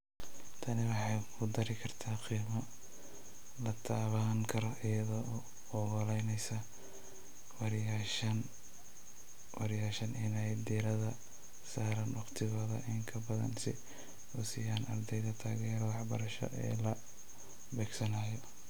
Tani waxay ku dari kartaa qiimo la taaban karo iyada oo u oggolaanaysa barayaashan inay diiradda saaraan wakhtigooda in ka badan si ay u siiyaan ardayda taageerada waxbarasho ee la beegsanayo.